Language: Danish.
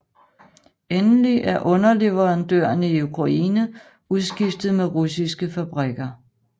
Endelig er underleverandørerne i Ukraine udskiftet med russiske fabrikker